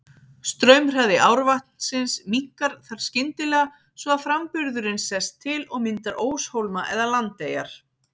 Straumhraði árvatnsins minnkar þar skyndilega svo að framburðurinn sest til og myndar óshólma eða landeyjar.